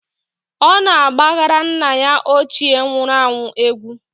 Ọ na-agbara nna ya ochie nwuru anwụ egwu.